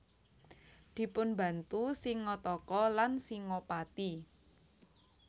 Dipunbantu Singataka lan Singapati